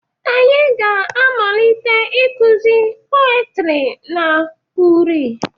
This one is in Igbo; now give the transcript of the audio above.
Anyị ga-amalite ịkụzi peotry na uri